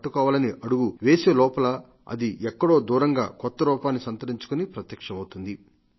పట్టకోవాలని అడుగు వేసేలోపల అది ఎక్కడో దూరంగా కొత్తరూపాన్ని సంతరించుకుని ప్రత్యక్షమవుతుంది